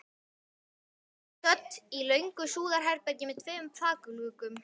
Þau voru stödd í löngu súðarherbergi með tveimur þakgluggum.